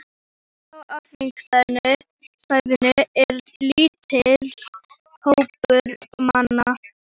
Inni á afgirta svæðinu er lítill hópur manna.